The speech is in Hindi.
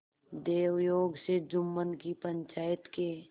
दैवयोग से जुम्मन की पंचायत के